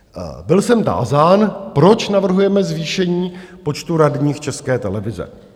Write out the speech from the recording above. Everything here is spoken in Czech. Byl jsem tázán, proč navrhujeme zvýšení počtu radních České televize.